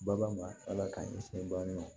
Bagan ma ala k'an kisi bana ma